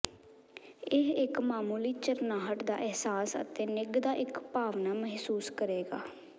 ਇਹ ਇੱਕ ਮਾਮੂਲੀ ਝਰਨਾਹਟ ਦਾ ਅਿਹਸਾਸ ਅਤੇ ਨਿੱਘ ਦਾ ਇੱਕ ਭਾਵਨਾ ਮਹਿਸੂਸ ਕਰੇਗਾ